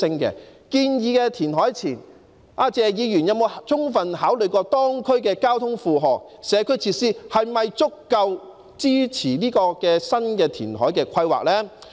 在建議填海前，謝議員有否充分考慮當區的交通負荷和社區設施是否足夠支持新的填海規劃呢？